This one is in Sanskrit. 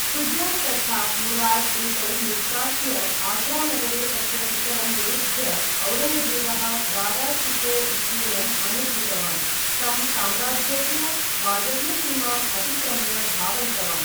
शुजा तथा मुराद् एतौ निष्कास्य, आग्रा नगरे तस्य पितरं निरुद्ध्य, औरङ्गजेबः दारा शिको इत्येनम् अनुद्रुतवान्, तं साम्राज्यस्य वायव्य सीमाम् अतिक्रम्य धावयितवान्।